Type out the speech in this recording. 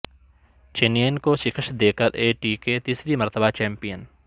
چنئین کو شکست دے کراے ٹی کے تیسری مرتبہ چمپین